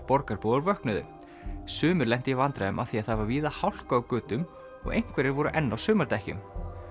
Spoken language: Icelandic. borgarbúar vöknuðu sumir lentu í vandræðum af því það var víða hálka á götum og einhverjir voru enn á sumardekkjum